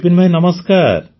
ବିପିନ ଭାଇ ନମସ୍କାର